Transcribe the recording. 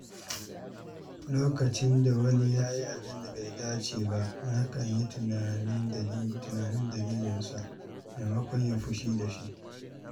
Lokacin da wani ya yi abin da bai dace ba, nakan yi tunanin dalilinsa maimakon yin fushi da shi.